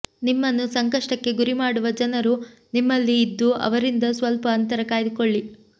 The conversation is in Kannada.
ನಿಮ್ಮನ್ನು ಸಂಕಷ್ಟಕ್ಕೆ ಗುರಿ ಮಾಡುವ ಜನರು ನಿಮ್ಮಲ್ಲಿ ಇದ್ದು ಅವರಿಂದ ಸ್ವಲ್ಪ ಅಂತರ ಕಾಯ್ದುಕೊಳ್ಳಿ